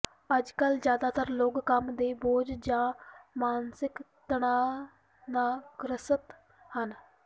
ਅੱਜਕਲ ਜ਼ਿਆਦਾਤਰ ਲੋਕ ਕੰਮ ਦੇ ਬੋਝ ਜਾਂ ਮਾਨਸਿਕ ਤਣਾਅ ਨਾ ਗ੍ਰਸਤ ਹਨ